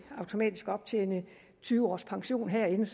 optjene tyve års pension herinde